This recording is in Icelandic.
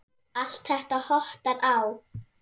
Allt þetta hottar á.